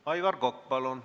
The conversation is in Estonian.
Aivar Kokk, palun!